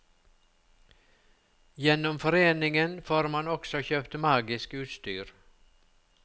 Gjennom foreningen får man også kjøpt magisk utstyr.